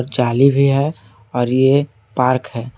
जाली भी है और ये पार्क है।